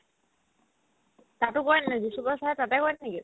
তাতো কৰে নেকি বিসু বড়ো sir ৰে তাতে কৰে নেকি ?